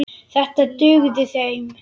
Þetta dugði þeim.